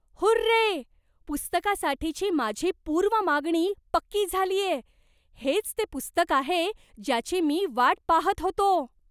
Hurray! पुस्तकासाठीची माझी पूर्व मागणी पक्की झालीये. हेच ते पुस्तक आहे ज्याची मी वाट पाहत होतो.